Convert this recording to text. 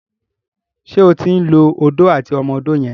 ṣe o tin ló Odó àti ọmọ odó yen?